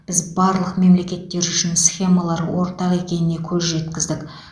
біз барлық мемлекеттер үшін схемалар ортақ екеніне көз жеткіздік